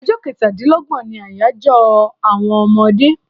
Ọjọ kẹ́tà dín lọ́gbọ̀n ní àyájọ àwọn ọmọdé